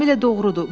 Tamamilə doğrudur.